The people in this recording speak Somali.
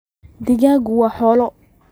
digagtu waa xoolo.